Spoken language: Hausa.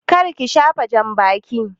Kar ki shafa jambakin!